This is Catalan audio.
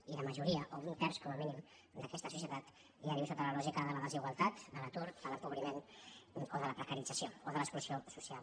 i la majoria o un terç com a mínim d’aquesta societat ja viu sota la lògica de la desigual·tat de l’atur de l’empobriment de la precarització o de l’exclusió social